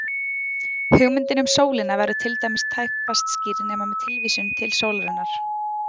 Hugmyndin um sólina verður til dæmis tæpast skýrð nema með tilvísun til sólarinnar.